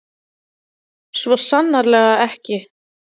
Svo sannarlega ekki.